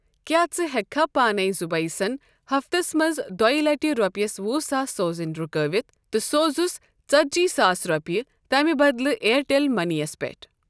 کیٛاہ ژٕ ہیکِہ کھہ پانٕے زُبیَٖسن ہفتس منٛز دۄیہِ لٹہ رۄپیَس وُہ ساس سوزٕنۍ رُکٲوِتھ تہٕ سوزُس ژتجی ساس رۄپیہِ تمِہ بدلہٕ اِیَرٹیٚل مٔنی یَس پیٹھ؟